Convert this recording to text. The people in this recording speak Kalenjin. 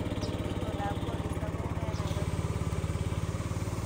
Itondap koristo koune eng nairobi nguno